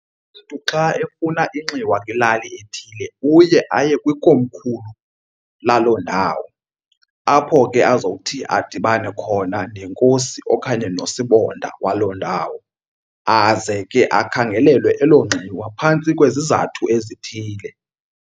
Umntu xa efuna inxiwa kwilali ethile uye aye kwikomkhulu laloo ndawo apho ke azowuthi adibane khona nenkosi okanye nosibonda waloo ndawo. Aze ke akhangelelwe elo nxiwa phantsi kwezizathu ezithile.